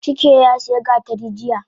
Chike yasiya gatari jiya